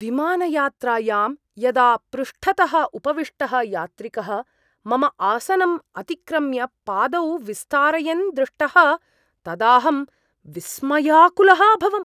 विमानयात्रायां यदा पृष्ठतः उपविष्टः यात्रिकः मम आसनम् अतिक्रम्य पादौ विस्तारयन् दृष्टः तदाहं विस्मयाकुलः अभवम्।